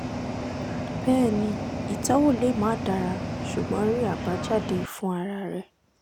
bẹẹni itọwo le ma dara ṣugbọn rii abajade fun ara rẹ